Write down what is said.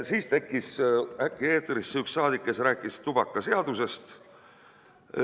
Siis tekkis äkki eetrisse üks saadik, kes rääkis tubakaseadusest.